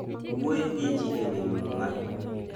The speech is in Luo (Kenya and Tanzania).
Wuoyo gi ji e wi Muma